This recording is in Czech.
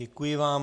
Děkuji vám.